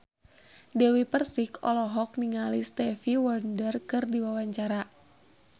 Dewi Persik olohok ningali Stevie Wonder keur diwawancara